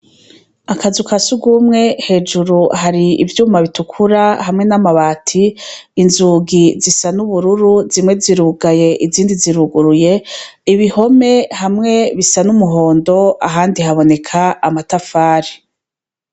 Akazu ka sugumwe, hejuru hari ivyuma bitukura hamwe n'amabati, inzugi zisa n’ubururu, zimwe zirugaye , izindi ziruguruye, ibihome hamwe bisa N'umuhondo ahandi haboneka amatafari.